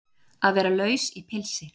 Að vera laus í pilsi